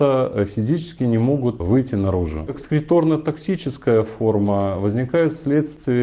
физически не могут выйти наружу экскреторная токсическая форма возникает в следствии